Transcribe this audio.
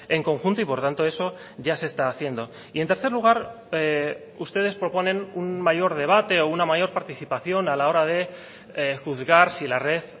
en conjunto y por tanto eso ya se está haciendo y en tercer lugar ustedes proponen un mayor debate o una mayor participación a la hora de juzgar si la red